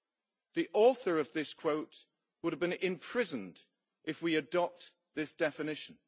The author of this quote would have to be imprisoned if we adopt this definition.